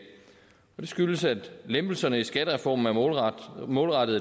skyldes at lempelserne i skattereformen er målrettet